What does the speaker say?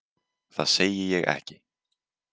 Það segi ég ekki.